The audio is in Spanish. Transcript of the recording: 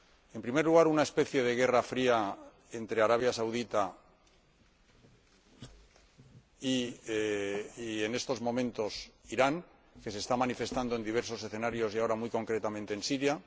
En primer lugar, una especie de guerra fría entre Arabia Saudí y, en estos momentos, Irán, que se está manifestando en diversos escenarios y ahora, muy concretamente, en Siria